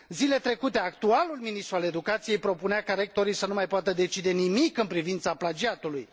Zilele trecute, actualul ministru al educației propunea ca rectorii să nu mai poată decide nimic în privința plagiatului.